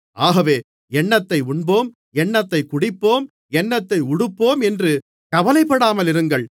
ஆகவே என்னத்தை உண்போம் என்னத்தைக் குடிப்போம் என்னத்தை உடுப்போம் என்று கவலைப்படாமல் இருங்கள்